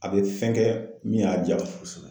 A bɛ fɛn kɛ min y'a ja kosɛbɛ.